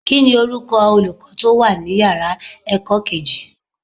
Kíni orúkọ Olùkọ́ tó wà ní ìyára ẹ̀kọ́ kejì?